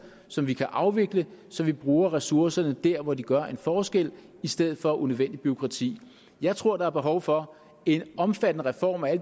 som vi kan afvikle så vi bruger ressourcerne der hvor de gør en forskel i stedet for på unødvendigt bureaukrati jeg tror der er behov for en omfattende reform af